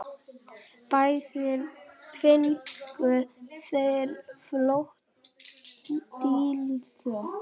Báðir fengu þeir flöt blýþök.